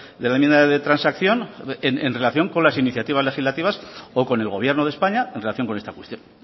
de la enmienda de transacción en relación con las iniciativas legislativas o con el gobierno de españa en relación con esta cuestión